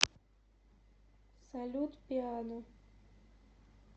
салют пиано